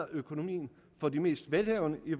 økonomien for de mest velhavende i